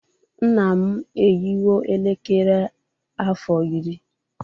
Nna m eyiwo elekere a afọ iri